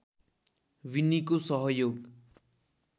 विन्नीको सहयोग